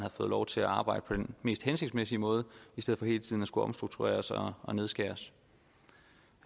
fået lov til at arbejde på den mest hensigtsmæssige måde i stedet for hele tiden at skulle omstruktureres og og nedskæres